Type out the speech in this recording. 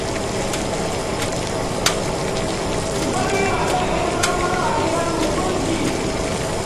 Ku zo mu yi wasan 'yar burum-burum a gidanmu, kun ji?